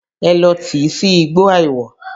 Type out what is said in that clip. Ẹ lọ tìí sí igbó àìwọ̀!